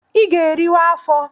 I ga-eriwa afọ!